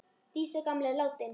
Dísa gamla er látin.